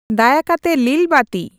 ᱫᱟᱭᱟ ᱠᱟᱛᱮ ᱞᱤᱞ ᱵᱟᱹᱛᱤ